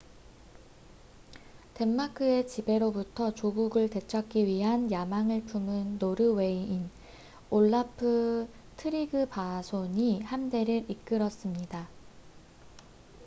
덴마크의 지배로부터 조국을 되찾기 위한 야망을 품은 노르웨이인 올라프 트리그바손이 함대를 이끌었습니다